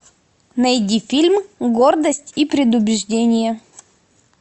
найди фильм гордость и предубеждение